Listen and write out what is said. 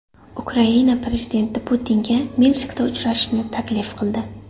Ukraina prezidenti Putinga Minskda uchrashishni taklif qildi.